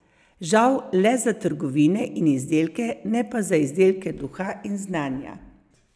Žal le za trgovine in izdelke, ne pa za izdelke duha in znanja.